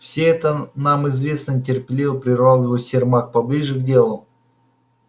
все это нам известно нетерпеливо прервал его сермак поближе к делу